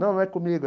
Não, não é comigo.